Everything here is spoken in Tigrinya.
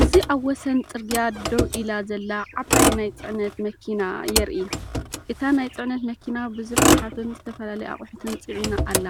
እዚኣብ ወሰን ጽርግያ ደው ኢላ ዘላ ዓባይ ናይ ጽዕነት መኪና የርኢ። እታ ናይ ጽዕነት መኪና ብዙሕ ጎሓፍን ዝተፈላለየ ኣቑሑትን ጽዒና ኣላ።